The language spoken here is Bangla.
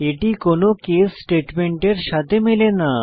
এটি কোনো কেস স্টেটমেন্টের সাথে মেলে না